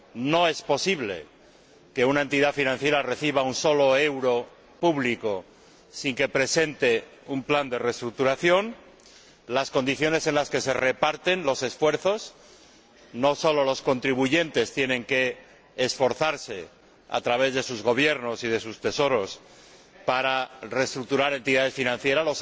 No es posible que una entidad financiera reciba un solo euro público sin que presente un plan de reestructuración. La Comisión controla asimismo las condiciones en las que se reparten los esfuerzos no solo los contribuyentes tienen que esforzarse a través de sus Gobiernos y de sus Tesoros para reestructurar entidades financieras